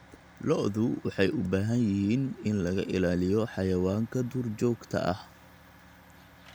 Lo'du waxay u baahan yihiin in laga ilaaliyo xayawaanka duurjoogta ah.